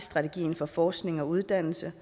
strategi for forskning og uddannelse